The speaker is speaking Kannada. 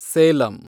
ಸೇಲಂ